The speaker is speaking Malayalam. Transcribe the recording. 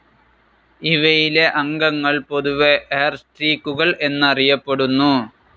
ഇവയിലെ അംഗങ്ങൾ പൊതുവേ ഹെയർസ്ട്രീക്കുകൾ എന്നറിയപ്പെടുന്നു.